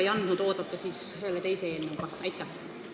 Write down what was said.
Ja kas selle teise eelnõuga ei andnud siis oodata?